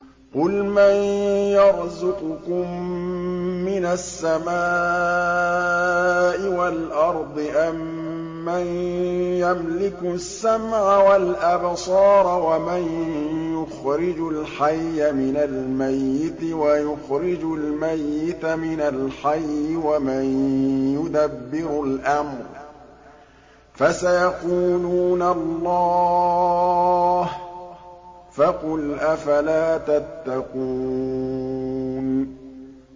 قُلْ مَن يَرْزُقُكُم مِّنَ السَّمَاءِ وَالْأَرْضِ أَمَّن يَمْلِكُ السَّمْعَ وَالْأَبْصَارَ وَمَن يُخْرِجُ الْحَيَّ مِنَ الْمَيِّتِ وَيُخْرِجُ الْمَيِّتَ مِنَ الْحَيِّ وَمَن يُدَبِّرُ الْأَمْرَ ۚ فَسَيَقُولُونَ اللَّهُ ۚ فَقُلْ أَفَلَا تَتَّقُونَ